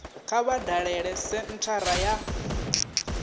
kha vha dalele senthara ya